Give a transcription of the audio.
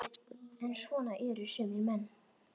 En svona eru sumir menn.